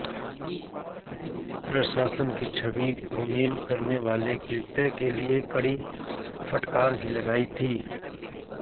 प्रशासन की छवि धूमिल करने वाले कृत्य के लिए कड़ी फटकार भी लगाई थी